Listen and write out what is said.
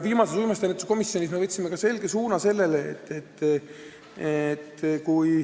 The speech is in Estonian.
Viimati me uimastiennetuse komisjonis võtsime selge suuna.